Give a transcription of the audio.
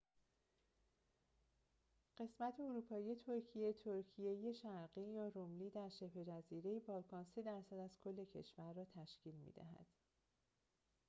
قسمت اروپایی ترکیه تراکیه شرقی یا روملی در شبه‌جزیره بالکان 3% از کشور را تشکیل می‌دهد